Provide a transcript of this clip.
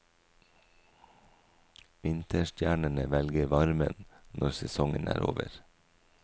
Vinterstjernene velger varmen når sesongen er over.